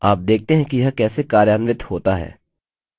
अब देखते हैं कि यह कैसे कार्यान्वित होता है